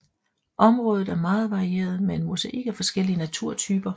Området er meget varieret med en mosaik af forskellige naturtyper